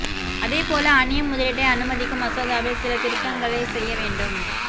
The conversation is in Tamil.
அதே போல அன்னிய முதலீட்டை அனுமதிக்கும் மசோதாவில் சில திருத்தங்களை செய்ய வேண்டும்